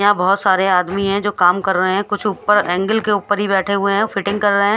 यहाँ बोहोत सारे आदमी है जो काम कर रहे है कुछ ऊपर एंगल के ऊपर ही बेठे हुए है फिटिंग कर रहे है।